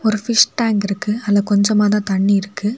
ஒரு fish tank இருக்கு அதுல கொஞ்சமாதான் தண்ணி இருக்கு.